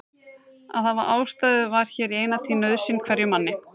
Að hafa ástæðu var hér í eina tíð nauðsyn hverjum manni.